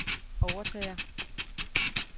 overtager